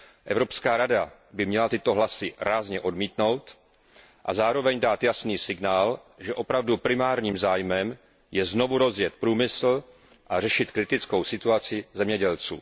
Evropská rada by měla tyto hlasy rázně odmítnout a zároveň dát jasný signál, že opravdu primárním zájmem je znovu rozjet průmysl a řešit kritickou situaci zemědělců.